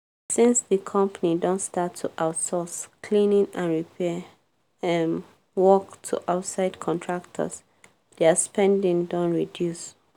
since di company don start to outsource cleaning and repair um work to outside contractors dia spending don reduce.